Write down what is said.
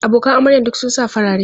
Abokan amaryan duk sun sa farare.